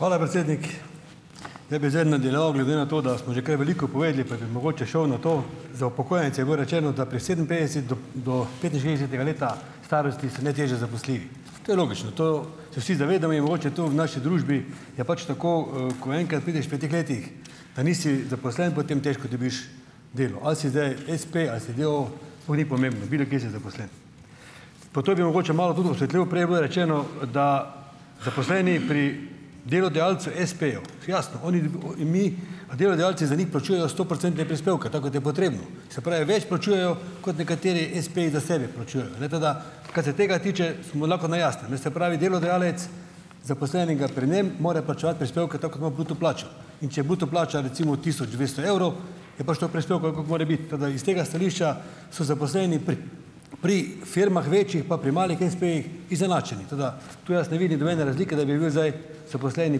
Hvala, predsednik. Ja, bi zdaj nadaljeval glede na to, da smo že kaj veliko povedali, pa bi mogoče šel na to. Za upokojence je bilo rečeno, da pri sedeminpetdeset do do petinšestdesetega leta starosti so najtežje zaposljivi. To je logično, to se vsi zavedamo in mogoče to v naši družbi je pač tako, e ko enkrat prideš pri teh letih pa nisi zaposlen, potem težko dobiš delo. Ali si zdaj espe ali si d. o. o., sploh ni pomembno, bilokje si zaposlen. Pa to bi mogoče malo tudi osvetlil. Prej je bilo rečeno, e da zaposleni pri delodajalcu espeju, jasno, oni mi, a delodajalci za njih plačujejo stoprocentne prispevke, tako kot je potrebno, se pravi, več plačujejo, kot nekateri espeji za sebe plačujejo, ne, tako da kaj se tega tiče, smo lahko na jasnem, ne. Se pravi delodajalec zaposlenega pri njem mora plačevati prispevke, tako kot ima bruto plačo. In če je bruto plača recimo tisoč dvesto evrov, je pač toliko prispevkov, koliko mora biti. Tako da iz tega stališča so zaposleni pri pri firmah večjih pa pri malih espejih izenačeni. Tako da to jaz ne vidim nobene razlike, da bi bil zdaj zaposleni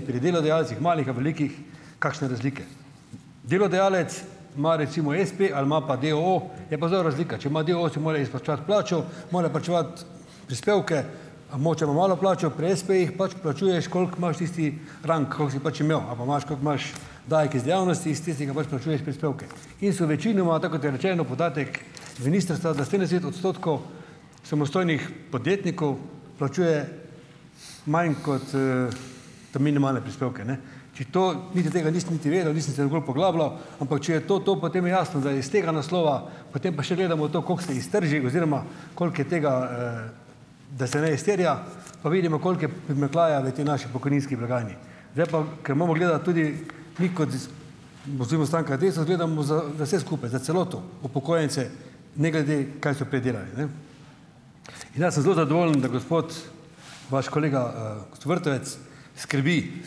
pri delodajalcih malih ali velikih, kakšne razlike. Delodajalec ima recimo espe ali ima pa d. o. o., je pa zelo razlika. Če ima d. o. o., si more izplačevati plačo, mora plačevati prispevke, Ima malo plačo, pri espejih pač plačuješ, koliko imaš tisti rang, koliko si pač imel ali pa imaš, kot imaš davek iz dejavnosti, is tistega pač plačuješ prispevke. In so večinoma, tako kot je rečeno podatek ministrstva, da odstotkov samostojnih podjetnikov plačuje manj kot, ta minimalne prispevke, ne. Če to, niti tega nisem niti vedel, nisem se nikoli poglabljal, ampak če je to to, potem je jasno, da je iz tega naslova, potem pa še gledamo to, kako se iztrži oziroma koliko je tega, da se ne izterja, pa vidimo, koliko je v tej naši pokojninski blagajni. Zdaj pa, ker moramo gledati tudi mi kot oziroma stranka Desus gledamo za za vse skupaj, za celoto, upokojence, ne glede, kaj so prej delali, ne. In ja sem zelo zadovoljen, da gospod, vaš kolega, Vrtovec skrbi,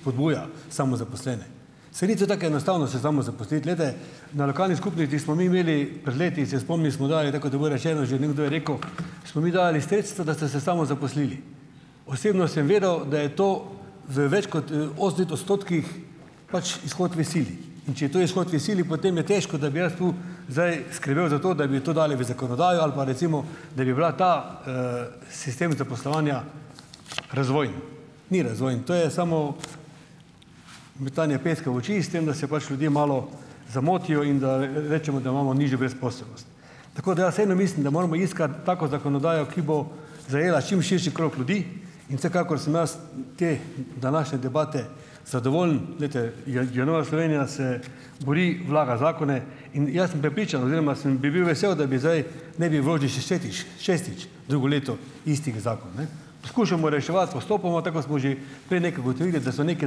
spodbuja samozaposlene. Saj ni to tako enostavno se samozaposliti. Glejte, na lokalni skupnosti smo mi imeli pred leti, se spomnim, smo dali, tako kot je bilo rečeno, že nekdo je rekel, smo mi dali sredstva, da ste se samozaposlili. Osebno sem vedel, da je to v več kot e odstotkih pač izhod v sili. In če je to izhod v sili, potem je težko, da bi jaz to zdaj skrbel za to, da bi to dali v zakonodajo ali pa recimo, da bi bila ta, sistem zaposlovanja razvojen. Ni razvojni, to je samo metanje peska v oči, s tem da se pač ljudje malo zamotijo in da rečemo, da imamo nižjo brezposelnost. Tako da ja vseeno mislim, da moramo iskati tako zakonodajo, ki bo zajela čim širši krog ljudi, in vsekakor sem jaz te današnje debate zadovoljen. Glejte, je je Nova Slovenija se bori, vlaga zakone in jaz sem prepričan oziroma sem bi bil vesel, da bi zdaj, ne bi šestič drugo leto istega zakona, ne. Skušamo reševati postopoma, tako kot smo že prej nekje ugotovili, da so neke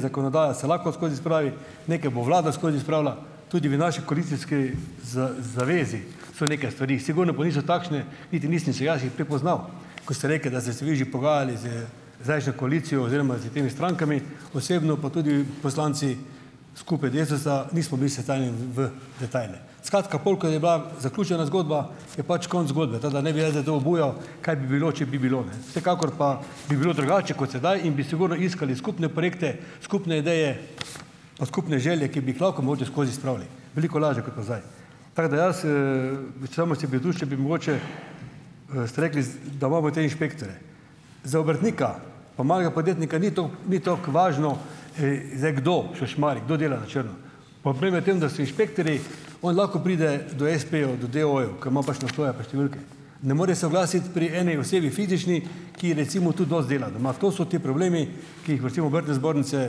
zakonodaje se lahko skozi spravi, nekaj bo vlada skozi spravila, tudi v naši koalicijski zavezi so neke stvari, sigurno pa niso takšne niti nisem si jaz jih prepoznal, ko ste rekli, da ste se vi že pogajali z zdajšnjo koalicijo oziroma s temi strankami, osebno pa tudi poslanci skupaj Desusa nismo bili v detajle. Skratka, pol ko je bila zaključena zgodba, je pač konec zgodbe. Tako da ne bi jaz zdaj to obujal, kaj bi bilo, če bi bilo, ne. Vsekakor pa bi bilo drugače kot sedaj in bi sigurno iskali skupne projekte, skupne ideje, pa skupne želje, ki bi jih lahko mogoče skozi spravili, veliko lažje kot pa zdaj. Tak da jaz, to še bi mogoče, ste rekli da imamo te inšpektorje. Za obrtnika pa malega podjetnika ni ni toliko važno zdaj, kdo šušmari, kdo dela na črno. Tem, da so inšpektorji, on lahko pride do espejev, do d. o. o.-jev, ker ima pač naslove pa številke, ne more se oglasiti pri eni osebi fizični, ki recimo tudi dosti dela doma. To so ti problemi, ki jih v recimo obrtne zbornice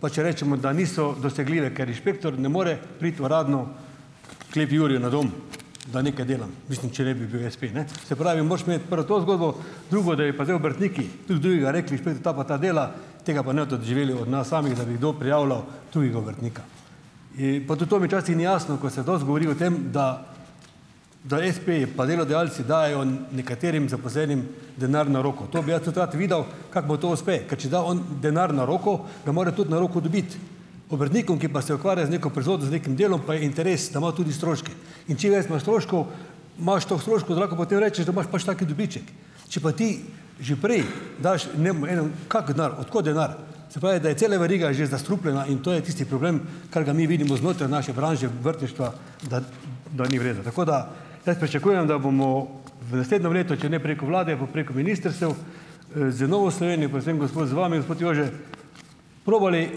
pač rečemo, da niso dosegljive, ker inšpektor ne more priti uradno klet Jurju na dom, da nekaj delam, mislim, če ne bi bil espe, ne. Se pravi moraš imeti prvo to zgodbo. Drugo, da bi pa zdaj obrtniki drug drugega rekli, ta pa ta dela, tega pa ne boste doživeli od nas samih, da bi kdo prijavljal tujega obrtnika. I, pa tudi to mi časih ni jasno, ko se dosti govori o tem, da da espeji pa delodajalci dajo nekaterim zaposlenim denar na roko. To bi jaz tudi rad videl, kako bo to uspe, ker če da on denar na roko, ga mora tudi na roko dobiti. Obrtnikom, ki pa se ukvarja z neko proizvodnjo, z nekim delom, pa je interes, da ima tudi stroške. In čim več ima stroškov, imaš toliko stroškov, da lahko potem rečeš, da imaš pač tak dobiček. Če pa ti že prej daš kak denar, od kod denar, se pravi, da je cela veriga že zastrupljena in to je tisti problem, kar ga mi vidimo znotraj naše branže obrtništva, da da ni v redu. Tako da jaz pričakujem, da bomo v naslednjem letu, če ne preko vlade, pa preko ministrstev, z Novo Slovenijo, predvsem gospod, z vami, gospod Jože, probali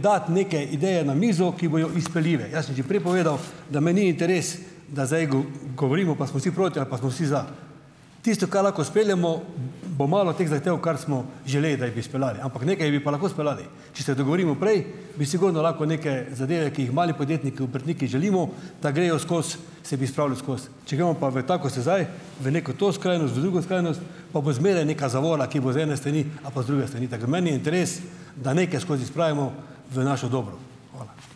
dati neke ideje na mizo, ki bojo izpeljive. Jaz sem že prej povedal, da me ni interes, da zdaj govorimo, pa smo vsi proti ali pa smo vsi za. Tisto, kaj lahko speljemo bo malo teh zahtev, kar smo želeli, da jih bi speljali. Ampak nekaj jih bi pa lahko speljali. Če se dogovorimo prej, bi sigurno lahko neke zadeve, ki jih mali podjetniki, obrtniki želimo, da grejo skozi, se bi spravile skozi. Če gremo pa v tako, kot se zdaj, v neko to skrajnost, v drugo skrajnost, pa bo zmeraj neka zavora, ki bo z ene strani ali pa z druge strani. Tako da meni je interes, da nekaj skozi spravimo, v naše dobro. Hvala.